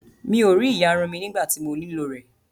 Mi ò rí ìyarun mí nígbà tí mo nílò rẹ̀